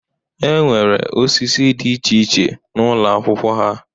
E nwere osisi dị iche iche n'ụlọ akwụkwọ ha